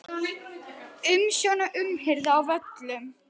Umsjón og umhirða á völlum